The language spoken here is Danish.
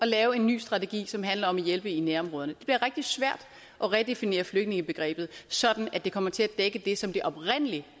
lave en ny strategi som handler om at hjælpe i nærområderne det bliver rigtig svært at redefinere flygtningebegrebet sådan at det kommer til at dække det som det oprindelig